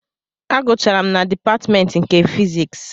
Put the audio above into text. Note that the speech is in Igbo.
Agụcharụ m na dịpatmentị nke fiziks